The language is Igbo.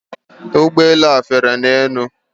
Ụgbọ elu a fere n'elu.